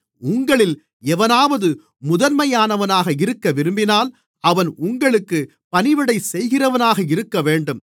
உங்களில் எவனாவது முதன்மையானவனாக இருக்கவிரும்பினால் அவன் உங்களுக்குப் பணிவிடைசெய்கிறவனாக இருக்கவேண்டும்